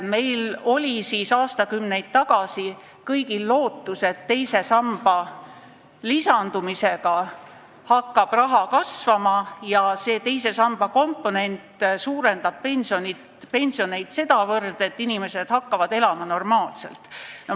Meil oli aastakümneid tagasi kõigil lootus, et teise samba lisandumisega hakkab raha kasvama ja teise samba komponent suurendab pensione sedavõrd, et inimesed hakkavad normaalselt elama.